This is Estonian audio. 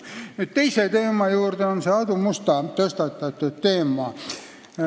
Lähen nüüd teise teema juurde: see on see Aadu Musta tõstatatud teema.